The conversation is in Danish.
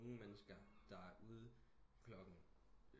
Nogen mennesker der er ude klokken